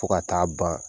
Fo ka taa ban